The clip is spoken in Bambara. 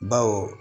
Baw